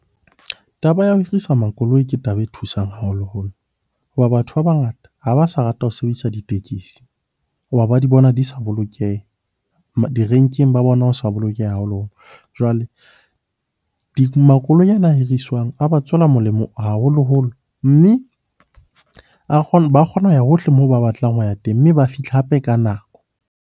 Taba ya ho hirisa makoloi ke taba e thusang haholoholo. Hoba batho ba bangata ha ba sa rata ho sebedisa ditekesi ho ba ba di bona di sa bolokeha, direnkeng ba bona ho sa bolokeha . Jwale makoloi ana a hiriswang a ba tswela molemo haholoholo, mme ba kgona ho ya hohle moo ba batlang ho ya teng mme ba fihla hape ka nako.